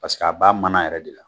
Paseke a b'a mana yɛrɛ de la.